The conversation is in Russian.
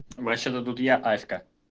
вообще-то тут я аська